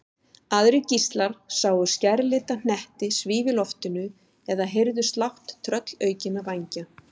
Aðrir gíslar sáu skærlita hnetti svífa í loftinu eða heyrðu slátt tröllaukinna vængja.